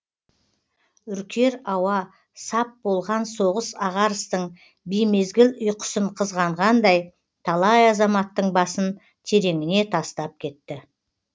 үркер ауа сап болған соғыс ағарыстың беймезгіл ұйқысын қызғанғандай талай азаматтың басын тереңіне тастап кетті